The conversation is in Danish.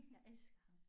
Jeg elsker ham